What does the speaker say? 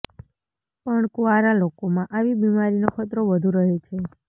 પણ કુંવારા લોકોમાં આવી બીમારીનો ખતરો વધુ રહે છે